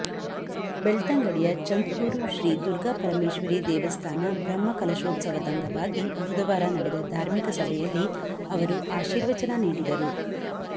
ಬೆಳ್ತಂಗಡಿಯ ಚಂದ್ಕೂರು ಶ್ರೀ ದುರ್ಗಾ ಪರಮೇಶ್ವರೀ ದೇವಸ್ಥಾನ ಬ್ರಹ್ಮಕಲ ಶೋತ್ಸವದಂಗವಾಗಿ ಬುಧವಾರ ನಡೆದ ಧಾರ್ಮಿಕ ಸಭೆಯಲ್ಲಿ ಅವರು ಆಶೀರ್ವಚನ ನೀಡಿದರು